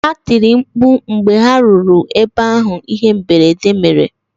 Ha tiri mkpu mgbe ha ruru ebe ahụ ihe mberede mere